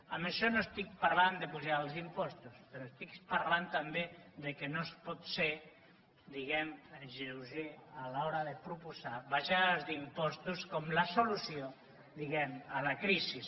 amb això no estic parlant d’apujar els impostos però estic parlant també que no es pot ser diguem ne lleuger a l’hora de proposar abaixades d’impostos com la solució diguem ne a la crisi